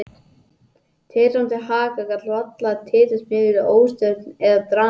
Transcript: Titrandi haka gat varla talist mikil óstjórn eða dramatík.